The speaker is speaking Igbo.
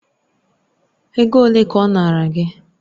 Ego ole ka ọ nara gị?